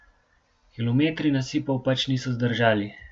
Kilometri nasipov pač niso zdržali.